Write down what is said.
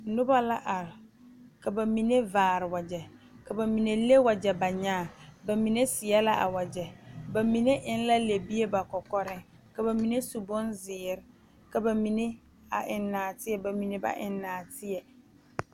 Nona la are ka ba mime vaare wagye ka ba mine le wagye ba kyaa ba mine seɛ la a wagye ba mine eŋ la le bie ba kɔkɔreŋ ka ba mine su bonzeere ka ba mine a eŋ naatie ba mine ba eŋ naatie